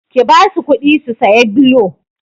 Ki basu kuɗi su saya blo!